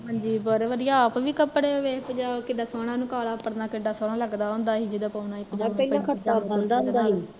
ਹਾਂਜੀ ਬਹੁਤ ਵਧੀਆ ਆਪ ਵੀ ਕਪੜਾ ਵੇਖ ਕਿੱਡਾ ਸੋਹਣਾ ਉਹਨੂੰ ਕਾਲਾ ਪਰਨਾ ਸੋਹਣਾ ਲੱਗਦਾ ਹੁੰਦਾ ਸੀ ਜਦੋਂ ਪਾਉਣਦਾ ਸੀ